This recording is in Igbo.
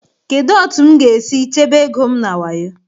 Kedu otu m ga-esi chebe ego m na wayo?